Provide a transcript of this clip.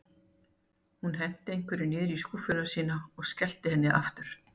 Hún henti einhverju niður í skúffuna sína og skellti henni aftur.